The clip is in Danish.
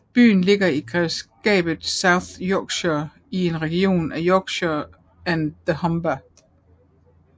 Byen ligger i grevskabet South Yorkshire i regionen Yorkshire and the Humber